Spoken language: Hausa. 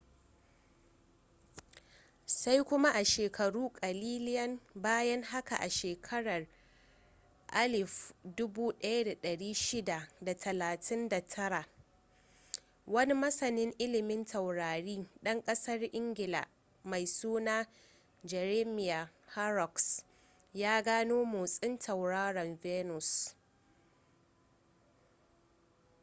sai kuma a sheakaru kalilian bayan haka a shekarar 1639 wani masanin ililmin taurari dan kasar ingila mai suna jeremiah horrocks ya gano motsin tauraron venus